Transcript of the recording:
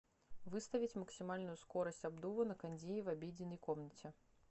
выставить максимальную скорость обдува на кондее в обеденной комнате